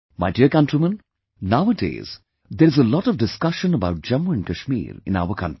My dear countrymen, nowadays there is a lot of discussion about Jammu and Kashmir in our country